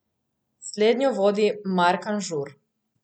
Slednjo vodi Mark Anžur.